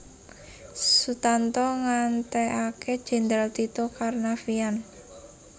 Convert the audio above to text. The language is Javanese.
Sutanto nggantekake Jendral Tito Karnavian